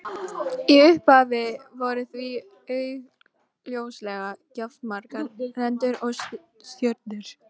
Hann var sífellt að stoppa eða hægja á sér og virtist eitthvað hrjá hann.